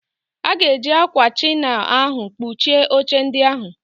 Aga eji ákwà chinail ahụ kpuchie oche ndị ahụ.